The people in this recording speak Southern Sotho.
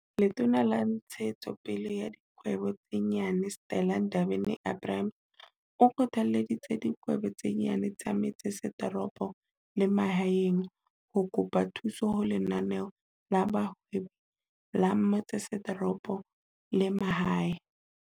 Letona la Ntshetso pele ya Dikgwebo tse Nyane, Stella Ndabeni-Abrahams, o kgothalleditse dikgwebo tse nyane tsa metse setoropo le mahaeng ho kopa thuso ho Lenaneo la Bohwebi la Metsesetoropo le Mahae.